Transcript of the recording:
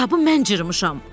Kitabı mən cırmışam!